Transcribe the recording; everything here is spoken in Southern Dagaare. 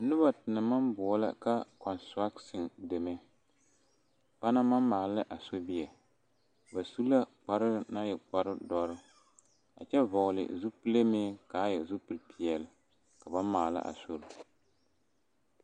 Noba te naŋ maŋ boɔlɔ ka kɔntrata deme ba naŋ maŋ maala a sobie ba su la kpare naŋ e kparedɔre a kyɛ vɔgle zupile meŋ k,a e zupilipeɛle ka ba maala a sori.